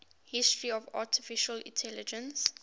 history of artificial intelligence